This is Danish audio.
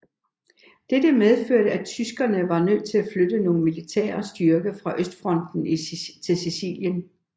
Dette medførte at tyskerne var nødt til at flytte nogle militære styrker fra Østfronten til Sicilien